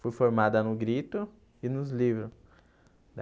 Fui formada no Grito e nos livros.